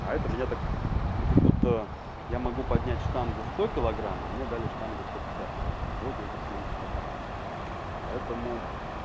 а это меня так ну как будто я могу поднять штангу в сто килограмм а мне дали штангу сто пятьдесят килограмм и вот я сейчас ею прокачусь поэтому